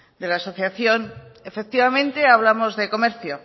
de la asociación efectivamente hablamos de comercio